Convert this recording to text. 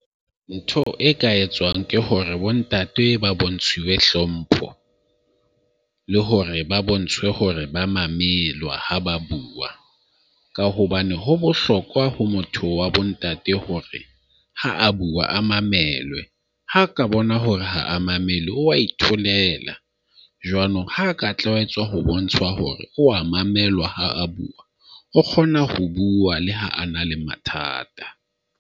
Ntho e ka etswang ke hore bontate ba bontshuwe hlompho, le hore ba bontshwe hore ba mamelwa ha ba bua. Ka hobane ho bohlokwa ho motho wa bontate hore ha a bua a mamelwe ha ka bona hore ha a mamelwe, o wa itholela. Jwanong ha ka tlwaetswa ho bontsha hore o a mamelwa ha a bua o kgona ho bua le ha a na le mathata.